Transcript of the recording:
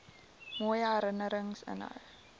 mooi herinnerings inhou